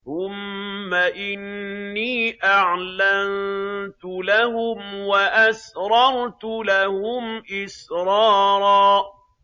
ثُمَّ إِنِّي أَعْلَنتُ لَهُمْ وَأَسْرَرْتُ لَهُمْ إِسْرَارًا